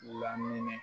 Lamini